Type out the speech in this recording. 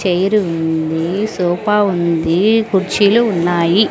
Chair ఉంది sofa ఉంది కుర్చీలు ఉన్నాయి.